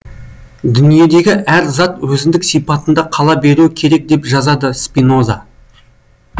дүниедегі әр зат өзіндік сипатында қала беруі керек деп жазады спиноза